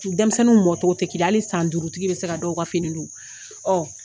Denmisɛnninw mɔn togo tɛ kelen ye, hali san duurutigi bɛ se ka dɔw ka fini don.